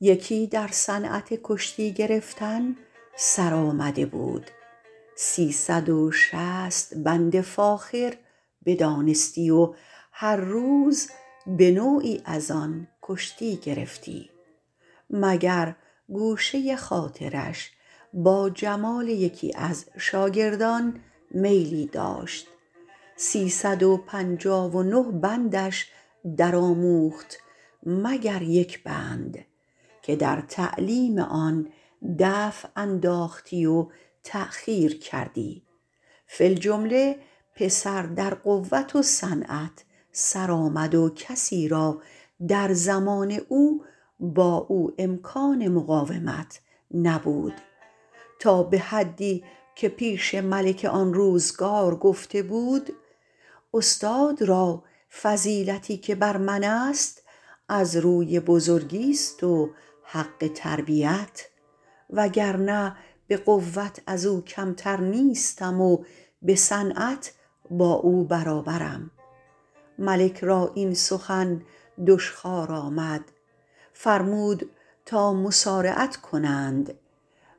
یکی در صنعت کشتی گرفتن سرآمده بود سی صد و شصت بند فاخر بدانستی و هر روز به نوعی از آن کشتی گرفتی مگر گوشه خاطرش با جمال یکی از شاگردان میلی داشت سی صد و پنجاه و نه بندش در آموخت مگر یک بند که در تعلیم آن دفع انداختی و تأخیر کردی فی الجمله پسر در قوت و صنعت سر آمد و کسی را در زمان او با او امکان مقاومت نبود تا به حدی که پیش ملک آن روزگار گفته بود استاد را فضیلتی که بر من است از روی بزرگیست و حق تربیت وگرنه به قوت از او کمتر نیستم و به صنعت با او برابرم ملک را این سخن دشخوار آمد فرمود تا مصارعت کنند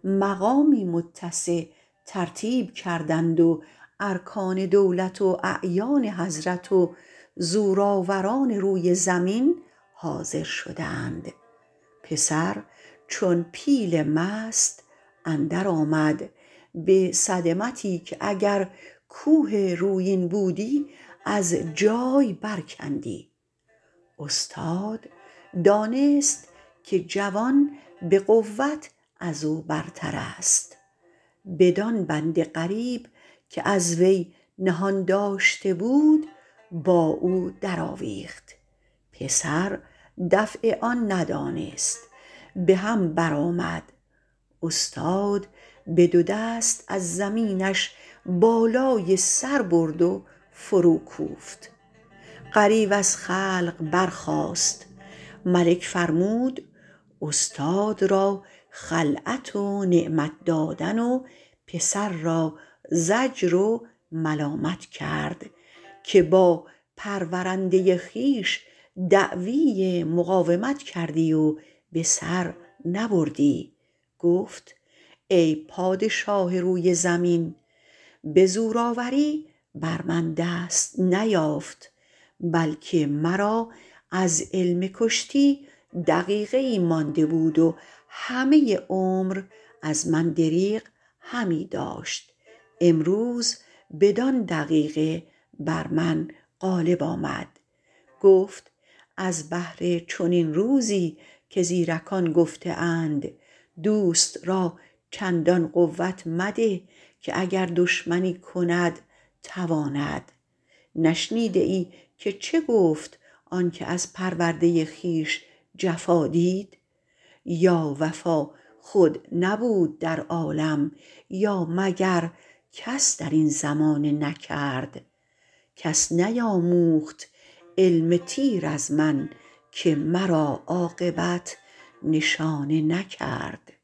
مقامی متسع ترتیب کردند و ارکان دولت و اعیان حضرت و زورآوران روی زمین حاضر شدند پسر چون پیل مست اندر آمد به صدمتی که اگر کوه رویین بودی از جای بر کندی استاد دانست که جوان به قوت از او برتر است بدان بند غریب که از وی نهان داشته بود با او در آویخت پسر دفع آن ندانست به هم بر آمد استاد به دو دست از زمینش بالای سر برد و فرو کوفت غریو از خلق برخاست ملک فرمود استاد را خلعت و نعمت دادن و پسر را زجر و ملامت کرد که با پرورنده خویش دعوی مقاومت کردی و به سر نبردی گفت ای پادشاه روی زمین به زورآوری بر من دست نیافت بلکه مرا از علم کشتی دقیقه ای مانده بود و همه عمر از من دریغ همی داشت امروز بدان دقیقه بر من غالب آمد گفت از بهر چنین روزی که زیرکان گفته اند دوست را چندان قوت مده که دشمنی کند تواند نشنیده ای که چه گفت آن که از پرورده خویش جفا دید یا وفا خود نبود در عالم یا مگر کس در این زمانه نکرد کس نیاموخت علم تیر از من که مرا عاقبت نشانه نکرد